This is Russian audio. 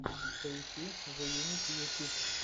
поищи зеюнити ютюб